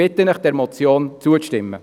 Ich bitte Sie, dieser Motion zuzustimmen.